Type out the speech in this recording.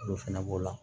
Olu fɛnɛ b'o la